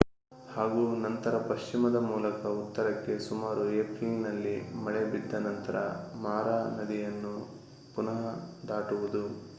ಹಾಗೂ ನಂತರ ಪಶ್ಚಿಮದ ಮೂಲಕ ಉತ್ತರಕ್ಕೆ ಸುಮಾರು ಏಪ್ರಿಲ್‌ನಲ್ಲಿ ಮಳೆ ಬಿದ್ದ ನಂತರ ಮಾರಾ ನದಿಯನ್ನು ಪುನಃ ದಾಟುವುದು